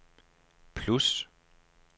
plus